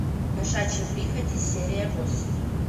кошачьи прихоти серия восемь